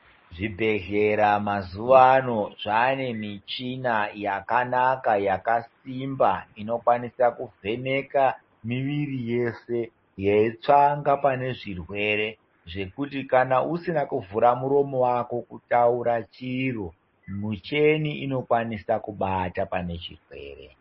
Zvibhedhlera mazuvaano zvane michina yakanaka yakasimba inokwanisa kuvheneka miviri yese yeitsvaka pane zvirwere zvekuti kana usina kuvhura muromo wako kutaura chiro michina inokwanisa kubata pane chirwere.